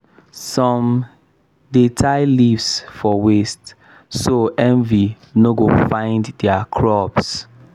some dey tie leaves for waist so envy no go find their crops.